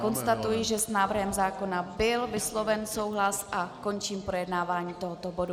Konstatuji, že s návrhem zákona byl vysloven souhlas, a končím projednávání tohoto bodu.